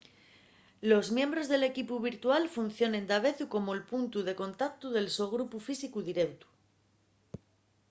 los miembros del equipu virtual funcionen davezu como’l puntu de contautu del so grupu físicu direutu